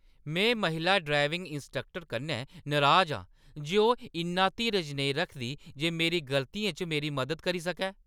में महिला driving instructor कन्नै नराज आं जे ओह् इन्ना धीरज नेईं रखदी जे मेरी गलतियें च मेरी मदद करी सकै।